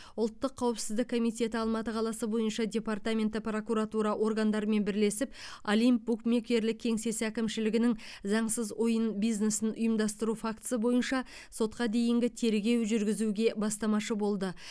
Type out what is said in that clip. ұлттық қауіпсіздік комитеті алматы қаласы бойынша департаменті прокуратура органдарымен бірлесіп олимп букмекерлік кеңсесі әкімшілігінің заңсыз ойын бизнесін ұйымдастыру фактісі бойынша сотқа дейінгі тергеу жүргізуге бастамашы болды